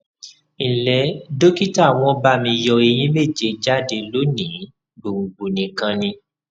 nle dókítà won ba mi yo eyín méje jáde lónìí gbòǹgbò nìkan ni